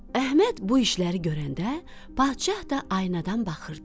Əhməd bu işləri görəndə, padşah da aynadan baxırdı.